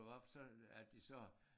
Lukkede op for så at de sagde